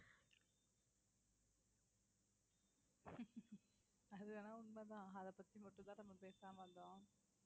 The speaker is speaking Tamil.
அது வேணா உண்மைதான் அதை பத்தி மட்டும் தான் நம்ம பேசாம இருந்தோம்